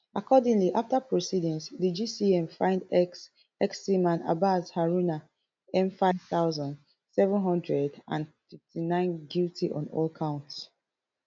accordingly afta proceedings di gcm find ex ex seaman abbas haruna m five thousand, seven hundred and fifty-nine guilty on all counts um